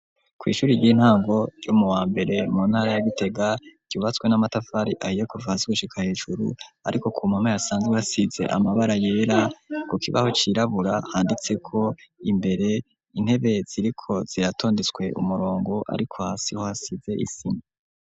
Ku ishuri ry'intango ryo mu wambere mu ntara ya Gitega ryubatswe n'amatafari ahiye kuva hasi gushika hejuru ariko ku mpome hasanzwe hasize amabara yera ku kibaho cirabura handitseko imbere intebe ziriko ziratondetswe umurongo ariko hasi ho hasize isima.